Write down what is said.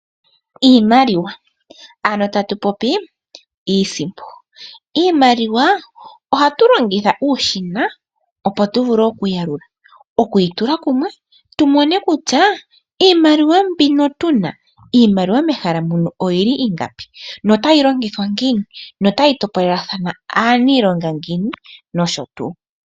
Iimaliwa ano tatu popi iisimpo. Iimaliwa ohatu longitha uushina opo tu vule okuyi yalula, okuyi tula kumwe tu mone kutya iimaliwa mbino tuna, iimaliwa mehala muno oyili ingapi? No tayi longithwa ngiini? No tayi topolelwa aaniilonga ngiini? No sho tuu.